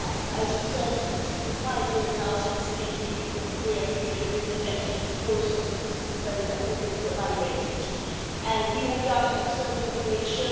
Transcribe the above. As you said, it has been five years now since the EU Korea free trade agreement entered into force, so it is very appropriate to evaluate it. We have done an external evaluation